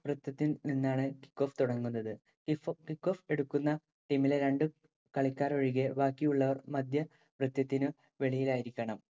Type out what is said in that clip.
വൃത്തത്തിൽ നിന്നാണ് kickoff തുടങ്ങുന്നത്. Kickoff എടുക്കുന്ന ടീമിലെ രണ്ടു കളിക്കാരൊഴികെ ബാക്കിയുളളവർ മധ്യവൃത്തത്തിനു വെളിയിലായിരിക്കണം.